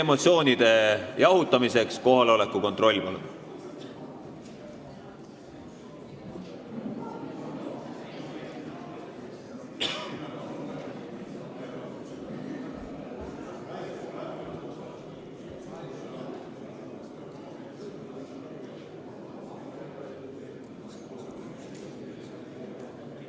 Emotsioonide jahutamiseks teeme nüüd kohaloleku kontrolli.